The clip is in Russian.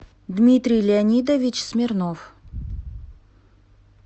дмитрий леонидович смирнов